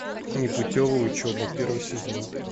непутевая учеба первый сезон